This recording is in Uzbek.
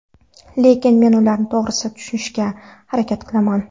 Lekin men ularni to‘g‘ri tushunishga harakat qilaman.